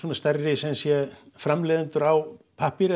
sumsé framleiðendur á pappír